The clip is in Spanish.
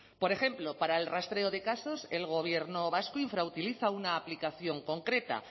por ejemplo para el rastreo de casos el gobierno vasco infrautiliza una aplicación concreta